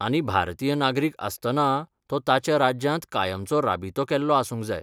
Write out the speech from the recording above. आनी भारतीय नागरीक आसतना तो ताच्या राज्यांत कायमचो राबितो केल्लो आसूंक जाय.